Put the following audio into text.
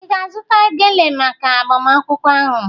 Ị ga-azụta gele maka agbamakwụkwọ ahụ?